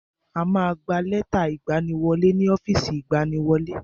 A ma gba lẹ́tà ìgbaniwọlé ni ọ́fìsì ìgbaniwọlé.